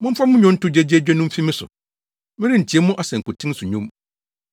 Momfa mo nnwonto gyegyeegye no mfi me so! Merentie mo asankuten so nnwom.